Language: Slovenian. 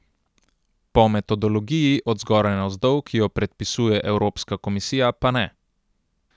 Po metodologiji od zgoraj navzdol, ki jo predpisuje evropska komisija, pa ne.